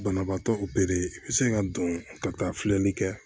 Banabaatɔ opere i bɛ se ka don ka taa filɛli kɛ